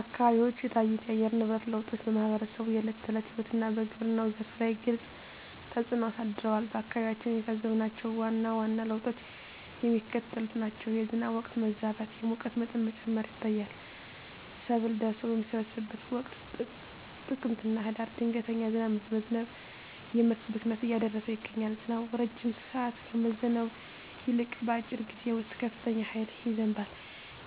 አካባቢዎች የታዩት የአየር ንብረት ለውጦች በማኅበረሰቡ የዕለት ተዕለት ሕይወትና በግብርናው ዘርፍ ላይ ግልጽ ተፅእኖ አሳድረዋል። በአካባቢያችን የታዘብናቸው ዋና ዋና ለውጦች የሚከተሉት ናቸው፦ የዝናብ ወቅት መዛባት፣ የሙቀት መጠን መጨመር ይታያል። ሰብል ደርሶ በሚሰበሰብበት ወቅት (ጥቅምትና ህዳር) ድንገተኛ ዝናብ በመዝነብ የምርት ብክነትን እያደረሰ ይገኛል። ዝናቡ ረጅም ሰዓት ከመዝነብ ይልቅ፣ በአጭር ጊዜ ውስጥ በከፍተኛ ኃይል ይዘንባል።